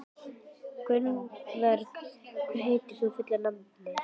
Gunnborg, hvað heitir þú fullu nafni?